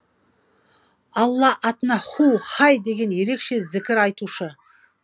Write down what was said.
алла атына һу һай деген ерекше зікір айтушы